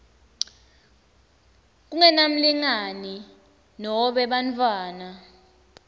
kungenamlingani nobe bantfwana